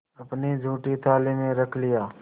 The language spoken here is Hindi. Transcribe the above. अपनी जूठी थाली में रख लिया